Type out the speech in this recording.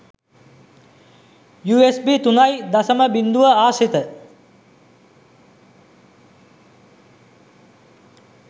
USB 3.0 ආශ්‍රිත